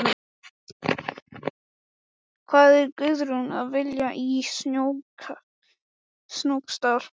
Hvað var Guðrún að vilja í Snóksdal?